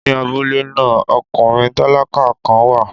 Ní abúlé náà, ọkùnrin tálákà kan wà.